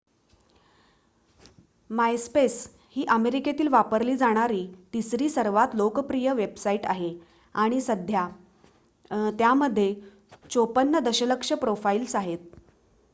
MySpace ही अमेरिकेत वापरली जाणारी तिसरी सर्वात लोकप्रिय वेबसाईट आहे आणि सध्या त्यामध्ये 54 दशलक्ष प्रोफाईल्स आहेत